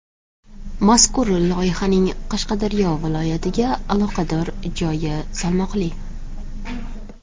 Mazkur loyihaning Qashqadaryo viloyatiga aloqador joyi salmoqli.